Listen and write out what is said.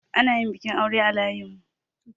Ana yin bikin aure a layinmu.